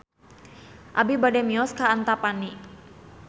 Abi bade mios ka Antapani